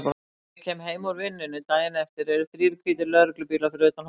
Þegar ég kem heim úr vinnunni daginn eftir eru þrír hvítir lögreglubílar fyrir utan hótelið.